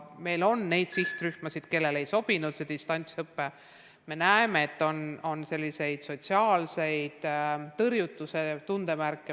Meil on sihtrühmi, kellele ei sobi distantsõpe, ja me näeme, et on sotsiaalse tõrjutuse tundemärke.